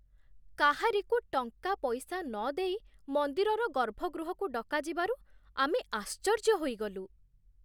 କାହାରିକୁ ଟଙ୍କାପଇସା ନଦେଇ ମନ୍ଦିରର ଗର୍ଭଗୃହକୁ ଡକାଯିବାରୁ ଆମେ ଆଶ୍ଚର୍ଯ୍ୟ ହୋଇଗଲୁ।